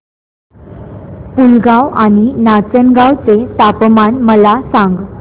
पुलगांव आणि नाचनगांव चे तापमान मला सांग